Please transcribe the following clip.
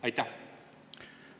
Aitäh!